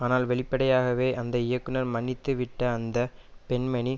ஆனால் வெளிப்படையாகவே அந்த இயக்குனரை மன்னித்துவிட்ட அந்த பெண்மணி